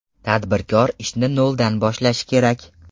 Tadbirkor ishni ‘nol’dan boshlashi kerak.